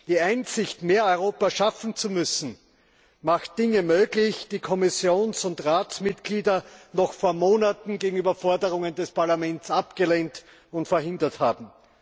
Die Einsicht, mehr Europa schaffen zu müssen, macht Dinge möglich, die Kommissions und Ratsmitglieder noch vor Monaten gegenüber Forderungen des Parlaments abgelehnt und verhindert haben.